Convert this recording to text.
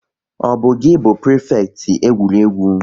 Ọ bu gi bu prifekiti egwuregwu?